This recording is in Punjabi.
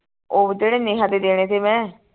ਉਹ ਜਿਹੜੇ ਨੇਹਾ ਦੇ ਦੇਣੇ ਥੇ ਮੈਂ